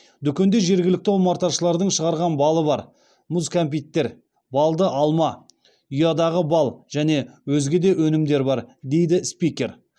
дүкенде жергілікті омарташылардың шығарған балы бар мұз кәмпиттер балды алма ұядағы бал және өзге де өнімдер бар дейді спикер